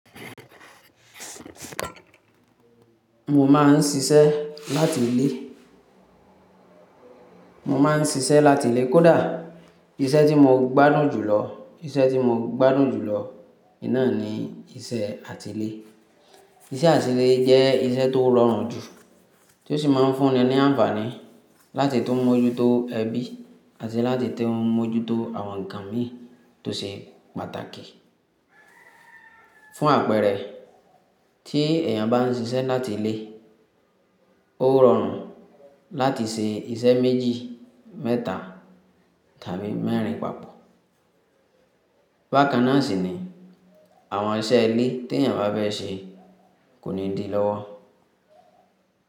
Mo ma ń ṣiṣẹ́ láti ilé. Mo ma ń ṣiṣẹ́ láti ilé, kòdá iṣẹ́ tí mo gbádùn jùlọ, iṣẹ́ tí mo gbádùn jùlọ, ìná ni iṣẹ́ àtilé. Iṣẹ́ àtilé jẹ́ iṣẹ́ tó rọrùn jù, tó sì ma ń fún ni ní àǹfààní láti tó mójútó ẹbí àti láti tó mójútó àwọn nǹkan mi tó ṣe pàtàkì. Fún àpẹẹrẹ, tí èèyàn ba ń ṣiṣẹ́ láti ilé, ó rọrùn láti ṣe iṣẹ́ méjì, mẹ́ta tàbí mẹ́rin pàpọ̀. Bákan náà sì ní àwọn iṣẹ́ ilé tí èèyàn bá fẹ́ ṣe kò ní di lọ́wọ́.